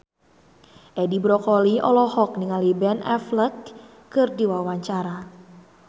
Edi Brokoli olohok ningali Ben Affleck keur diwawancara